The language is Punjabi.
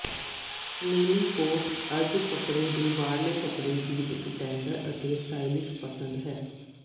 ਨੀਲੀ ਕੋਟ ਅੱਜ ਕੱਪੜੇ ਦੇ ਬਾਹਰਲੇ ਕੱਪੜੇ ਦੀ ਇੱਕ ਟੈਂਡਰ ਅਤੇ ਸਟਾਈਲਿਸ਼ ਪਸੰਦ ਹੈ